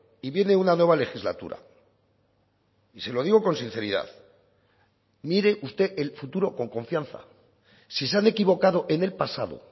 y viene una nueva legislatura y se lo digo con sinceridad mire usted el futuro con confianza si se han equivocado en el pasado